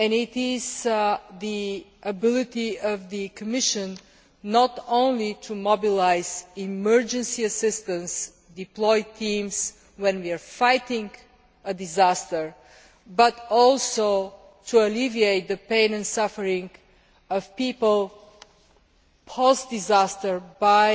This is the ability of the Commission not only to mobilise emergency assistance and deploy teams when we are fighting a disaster, but also to alleviate the pain and suffering of people, post disaster, by